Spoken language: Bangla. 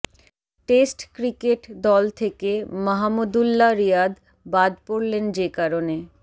টেস্ট ক্রিকেট দল থেকে মাহমুদু্ল্লাহ রিয়াদ বাদ পড়লেন যে কারণে